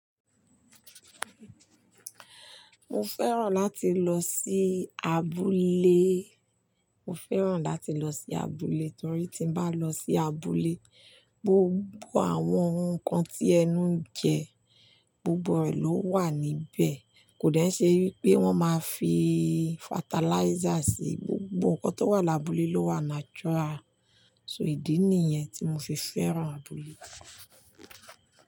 Mo fẹ́ràn láti lọ sí abúlé. Mo fẹ́ràn láti lọ sí abúlé torí tí bá lọ sí abúlé, gbogbo àwọn ohun kan tí ẹnu ń jẹ, gbogbo rẹ̀ ló wà níbẹ̀. Kò de nṣẹ́ pé wọ́n máa fi fatalizer sí i, gbogbo nǹkan tó wà l'abúlé ló wà natural. So ìdí nìyẹn tí mo fi fẹ́ràn abúlé.